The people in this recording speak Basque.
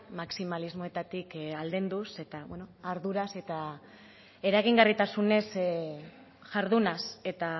maximalismoetatik aldenduz eta arduraz eta eragingarritasunez jardunaz eta